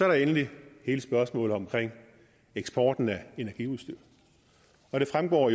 der endelig hele spørgsmålet om eksporten af energiudstyr det fremgår